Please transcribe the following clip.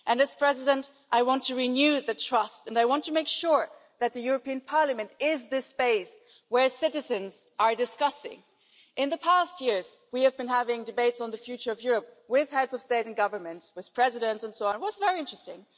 And as President I want to renew the trust and I want to make sure that the European Parliament is the space where citizens are discussing. In the past few years we have been having debates on the future of Europe with heads of state and government, with presidents and so on, and this has been very interesting.